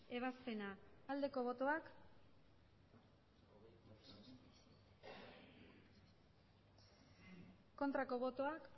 ebazpena aldeko botoak aurkako botoak